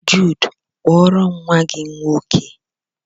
Jude, kpọọrom nwa gị nwoke!